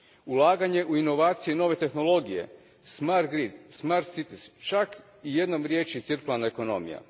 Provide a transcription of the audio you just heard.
Ulaganje u inovacije i nove tehnologije, smart green, smart cities, čak i jednom riječju cirkularna ekonomija.